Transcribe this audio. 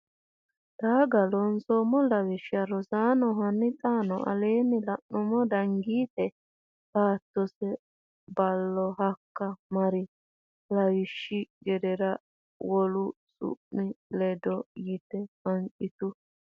Taqa Loonseemmo Lawishsha Rosaano hanni xaano aleenni la numo Danigiite beettose Ballo hakka mari lawishshi gedeere wole su mi ledaano yite hanqitu !